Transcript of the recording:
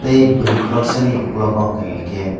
tei boroi korksa ni okolog hingka hingke.